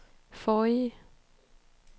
forrige